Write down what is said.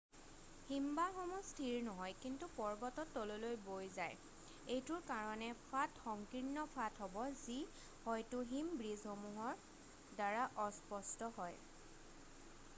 হীমবাহসমূহ স্থীৰ নহয় কিন্তু পৰ্বতত তললৈ বৈ যায়৷ এইটোৰ কাৰণে ফাট সংকীৰ্ণ ফাট হ'ব যি হয়তো হীম ব্ৰীজসমূহৰ দ্বাৰা অস্পষ্ট্য হয়৷